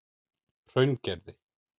Hraungerði